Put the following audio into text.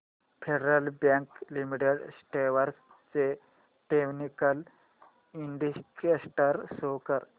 federal bank limited stocks चे technical indicators show कर